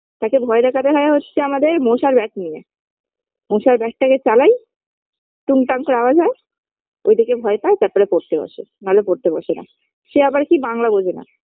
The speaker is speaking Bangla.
তাকে ভয় দেখাতে হয় হচ্ছে আমাদের মশার bat নিয়ে মশার bat -টাকে চালাই টুংটাং করে আওয়াজ হয় ওই দেখে ভয় পায় তারপরে পড়তে বসে নাহলে পড়তে বসে না সে আবার কি বাংলা বোঝেনা